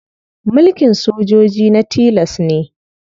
Mulkin sojoji na tilas ne.